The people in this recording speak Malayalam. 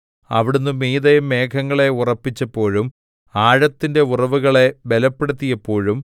അവിടുന്ന് മീതെ മേഘങ്ങളെ ഉറപ്പിച്ചപ്പോഴും ആഴത്തിന്റെ ഉറവുകളെ ബലപ്പെടുത്തിയപ്പോഴും